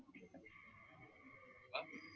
hello